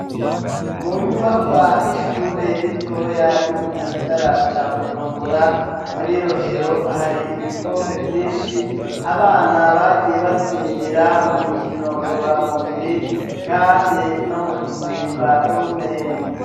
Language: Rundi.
Mu nyubakwa y'ishure ritoya ryo mu gisagara ca bujumbura, muri rohero, hari ibikombe vyinshi abana bagiye batsindira mu mikino ngorora mubiri kandi no mu gusimba urumende.